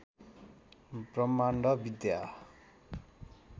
ब्रह्माण्ड विद्या